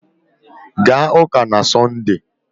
Gaa ụ́kà na Sọnde!